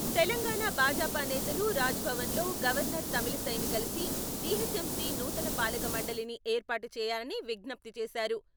తెలంగాణ భాజపా నేతలు రాజ్ భవన్ లో గవర్నర్ తమిళిసైని కలిసి జీహెచ్ఎంసీ నూతన పాలకమండలిని ఏర్పాటు చేయాలని విజ్ఞప్తి చేశారు.